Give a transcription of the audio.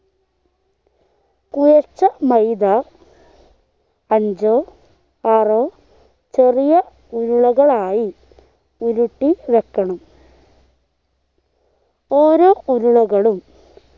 കുഴച്ച മൈദ അഞ്ചോ ആറോ ചെറിയ ഉരുളകളായി ഉരുട്ടി വെക്കണം ഓരോ ഉരുളകളും